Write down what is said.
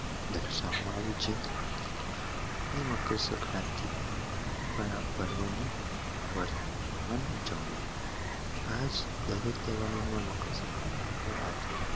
દર્શાવામાં આવે છે ની મકર સંક્રાંતિ પર આ પર્વ ની વાર મહાન ઉજવણી આજ ડાર્ક તહેવારોમાં મકર સંક્રાંતિ